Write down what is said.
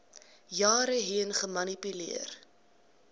jare heen gemanipuleer